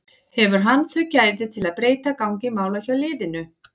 Hefur hann þau gæði til að breyta gangi mála hjá liðinu?